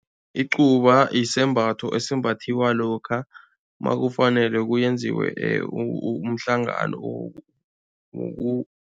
Icuba isembatho esimbathiwa lokha makufanele kuyenziwe umhlangano